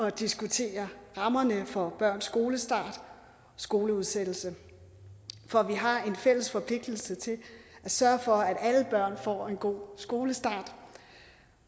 at diskutere rammerne for børns skolestart og skoleudsættelse for vi har en fælles forpligtelse til at sørge for at alle børn får en god skolestart